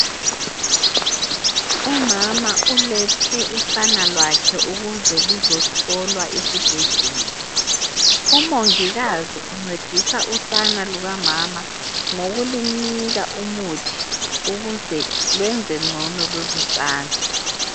Umama ulethe usana lwakhe ukuze luzo hlolwa esibhedlela, umongikazi uncedisa usana lukamama ngokulunika umuthi ukuze lwenze ngcono lolusana.